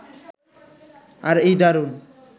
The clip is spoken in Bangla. আর এই দারুণ